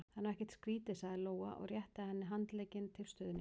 Það er nú ekkert skrítið, sagði Lóa og rétti henni handlegginn til stuðnings.